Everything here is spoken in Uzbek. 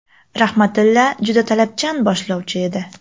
Rahmatilla juda talabchan boshlovchi edi.